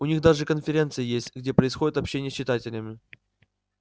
у них даже конференции есть где происходит общение с читателями